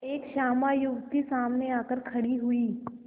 एक श्यामा युवती सामने आकर खड़ी हुई